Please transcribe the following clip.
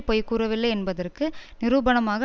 பொய்கூறவில்லை என்பதற்கு நிரூபணமாக